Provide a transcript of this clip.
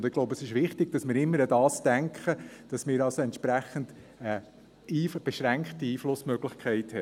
Ich glaube, es ist wichtig, dass wir immer daran denken, dass wir entsprechend eine beschränkte Einflussmöglichkeit haben.